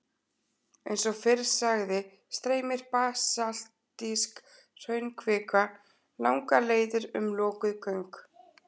Eins og fyrr sagði streymir basaltísk hraunkvika langar leiðir um lokuð göng.